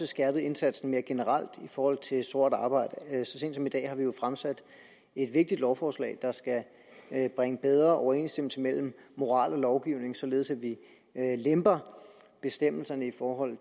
skærpet indsatsen mere generelt i forhold til sort arbejde så sent som i dag har vi jo fremsat et vigtigt lovforslag der skal bringe bedre overensstemmelse mellem moral og lovgivning således at vi lemper bestemmelserne i forhold